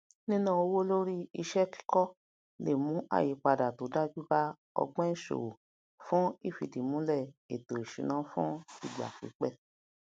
níná owó lórí iṣẹ kíkọ le mú àyípadà to dájú ba ogbon ìṣòwò fún ifidimulẹ ètò ìṣúná fún ìgbàpípẹ